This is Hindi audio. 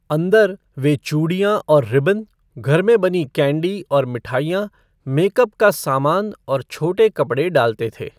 अंदर, वे चूड़ियां और रिबन, घर में बनी कैंडी और मिठाइयां, मेकअप का सामान और छोटे कपड़े डालते थे।